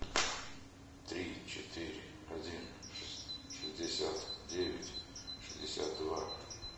три четыре один шестьдесят девять шестьдесят два